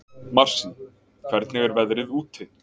Marsý, hvernig er veðrið úti?